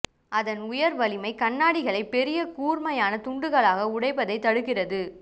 அதன் உயர் வலிமை கண்ணாடிகளை பெரிய கூர்மையான துண்டுகளாக உடைப்பதை தடுக்கிறது